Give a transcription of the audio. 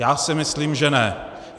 Já si myslím, že ne.